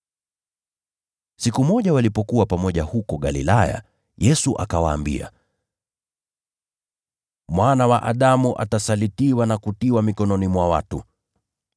Siku moja walipokuwa pamoja huko Galilaya, Yesu akawaambia, “Mwana wa Adamu atasalitiwa na kutiwa mikononi mwa watu.